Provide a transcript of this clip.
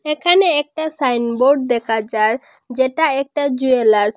এখানে একটা সাইনবোর্ড দেকা যার যেটা একটা জুয়েলার্স ।